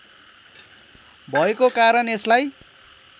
भएको कारण यसलाई